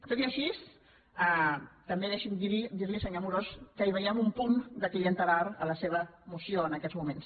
tot i així també deixi’m dir li senyor amorós que hi veiem un punt de clientelar a la seva moció en aquests moments